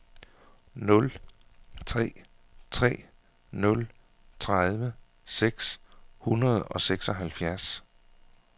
nul tre tre nul tredive seks hundrede og seksoghalvfjerds